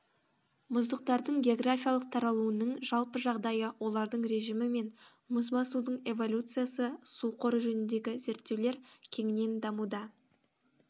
мұздықтардың географиялық таралуының жалпы жағдайы олардың режімі мен мұзбасудың эволюциясы су қоры жөніндегі зерттеулер кеңінен дамуда